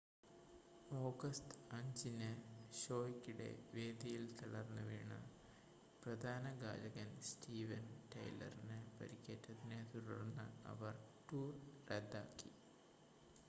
August 5-ന് ഷോയ്ക്കിടെ വേദിയിൽ തളർന്നുവീണ് പ്രധാന ഗായകൻ സ്റ്റീവൻ ടൈലറിന് പരിക്കേറ്റതിനെ തുടർന്ന് അവർ ടൂർ റദ്ദാക്കി